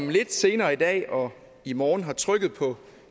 vi senere i dag og i morgen har trykket på